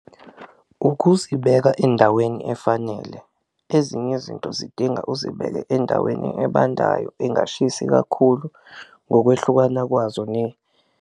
Ukuzibeka endaweni efanele, ezinye izinto zidinga uzibeke endaweni ebandayo engashisi kakhulu ngokwehlukana kwazo .